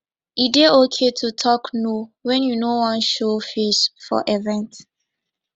e dey okay to talk no when you no wan show face for event